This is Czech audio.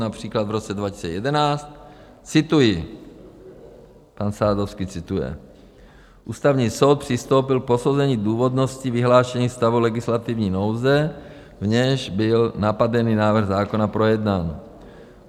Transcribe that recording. Například v roce 2011, cituji - pan Sadovský cituje: Ústavní soud přistoupil k posouzení důvodnosti vyhlášení stavu legislativní nouze, v němž byl napadený návrh zákona projednán.